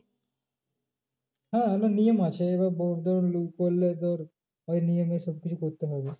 হ্যাঁ একটা নিয়ম আছে এবার করলে তোর ওই নিয়মের ক্ষেত্রেই করতে হবে।